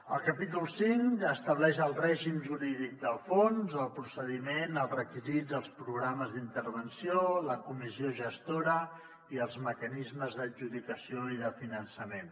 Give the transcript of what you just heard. el capítol cinc estableix el règim jurídic del fons el procediment els requisits els programes d’intervenció la comissió gestora i els mecanismes d’adjudicació i de finançament